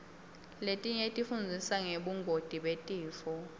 letinye tifundzisa ngebungoti betifo